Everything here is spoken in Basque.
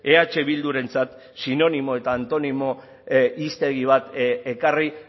eh bildurentzat sinonimo eta antonimo hiztegi bat ekarri